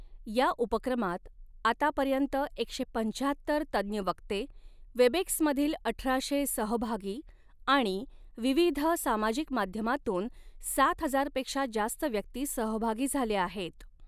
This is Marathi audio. या उपक्रमात, आतापर्यंत, एकशे पंचाहत्तर तज्ञ वक्ते, वेबएक्स मधील अठराशे सहभागी आणि विविध सामाजिक माध्यमांतून सात हजार पेक्षा जास्त व्यक्ती सहभागी झाल्या आहेत.